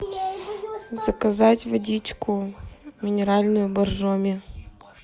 заказать водичку минеральную боржоми